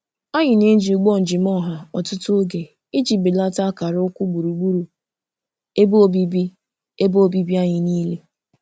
Anyị na-eji ụgbọ njem ọha ọtụtụ oge iji belata akara ukwu gburugburu ebe obibi ebe obibi anyị niile.